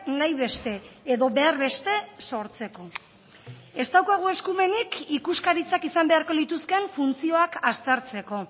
nahi beste edo behar beste sortzeko ez daukagu eskumenik ikuskaritzak izan beharko lituzkeen funtzioak aztertzeko